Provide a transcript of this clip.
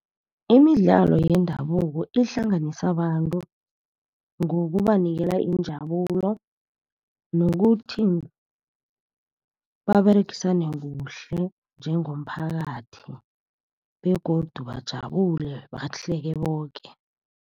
Imidlalo yendabuko ihlanganisa abantu ngokubanikela injabulo nokuthi, baberegisane kuhle njengomphakathi begodu bajabule balahleke boke.